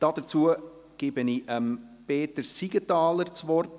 Dazu gebe ich Peter Siegenthaler das Wort.